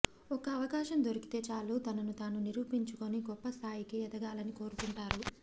ఒక్క అవకాశం దొరికితే చాలు తనను తాను నిరూపించుకొని గొప్ప స్థాయికి ఎదగాలని కోరుకుంటారు